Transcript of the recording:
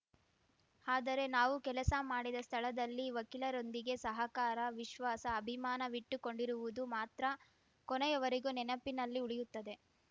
ಆದರೆ ನಾವು ಕೆಲಸ ಮಾಡಿದ ಸ್ಥಳದಲ್ಲಿ ವಕೀಲರೊಂದಿಗೆ ಸಹಕಾರ ವಿಶ್ವಾಸ ಅಭಿಮಾನವಿಟ್ಟುಕೊಂಡಿರುವುದು ಮಾತ್ರ ಕೊನೆಯವರೆಗೂ ನೆನಪಿನಲ್ಲಿ ಉಳಿಯುತ್ತದೆ